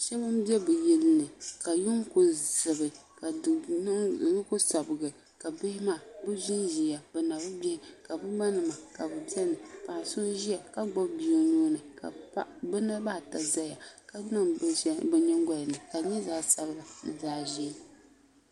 so n do bi yili ni ka yuŋ ku zibi ka duu ni ku sabigi ka bihi maa bi ʒinʒiya bi na bi gbihi ka bi ma nima ka bi biɛni so ʒiya ka gbubi bia o nuuni ka bi niraba ata ʒɛya ka niŋ bin shɛli bi nyingoya ni ka di nyɛ zaɣ sabila ni zaɣ ʒiɛ